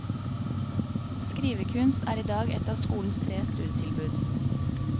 Skrivekunst er i dag et av skolens tre studietilbud.